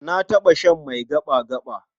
Na taɓa shan mai gaɓa-gaɓa.